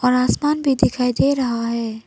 आसमान भी दिखाई दे रहा है।